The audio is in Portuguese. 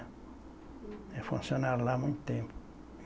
É funcionário lá há muito tempo.